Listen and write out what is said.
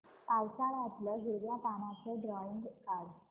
पावसाळ्यातलं हिरव्या पानाचं ड्रॉइंग काढ